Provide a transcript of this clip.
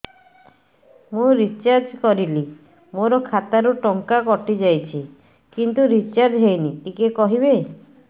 ମୁ ରିଚାର୍ଜ କରିଲି ମୋର ଖାତା ରୁ ଟଙ୍କା କଟି ଯାଇଛି କିନ୍ତୁ ରିଚାର୍ଜ ହେଇନି ଟିକେ କହିବେ